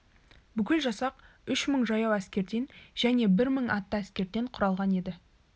бүкіл жасақ үш мың жаяу әскерден және бір мың атты әскерден құралған еді